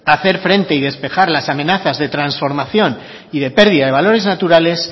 hacer frente y despejar las amenazas de transformación y de pérdida de valores naturales